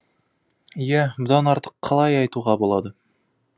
иә бұдан артық қалай айтуға болады